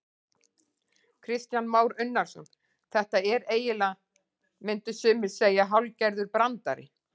Kristján Már Unnarsson: Þetta er eiginlega, myndu sumir segja hálfgerður brandari?